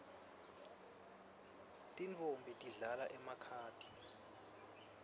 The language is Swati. tintfombi tidlala emakhadi